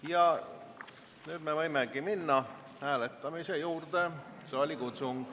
Ja nüüd me võimegi minna hääletamise juurde.